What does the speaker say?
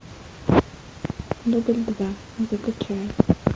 дубль два закачай